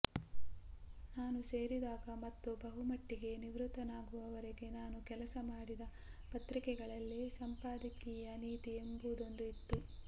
ನಾನು ಸೇರಿದಾಗ ಮತ್ತು ಬಹುಮಟ್ಟಿಗೆ ನಿವೃತ್ತನಾಗುವವರೆಗೆ ನಾನು ಕೆಲಸ ಮಾಡಿದ ಪತ್ರಿಕೆಗಳಲ್ಲಿ ಸಂಪಾದಕೀಯ ನೀತಿ ಎಂಬುದೊಂದು ಇತ್ತು